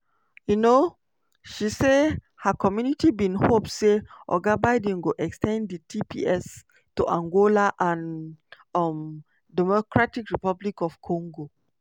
um she say her community bin hope say oga biden go ex ten d di tps to angola and um dr congo